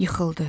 Yıxıldı.